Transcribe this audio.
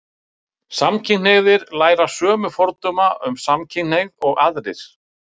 samkynhneigðir læra sömu fordóma um samkynhneigð og allir aðrir